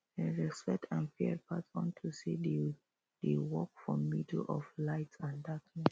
dem respect and fear bat unto say dem dey walk for middle of light and darkness